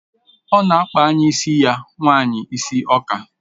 Ọ na-akpa enyi ya nwanyị isi ọka